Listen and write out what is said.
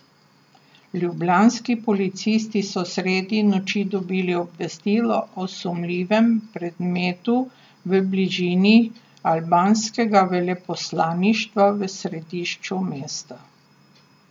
Ljubljanski policisti so sredi noči dobili obvestilo o sumljivem predmetu v bližini albanskega veleposlaništva v središču mesta.